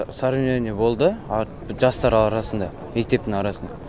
соревнование болды жастар арасында мектептің арасында